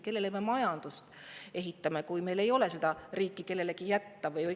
Kelle jaoks me seda majandust ehitame, kui meil ei ole seda riiki mitte kellelegi jätta?